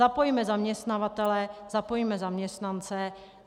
Zapojme zaměstnavatele, zapojme zaměstnance.